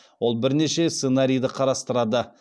ол бірнеше сценарийді қарастырады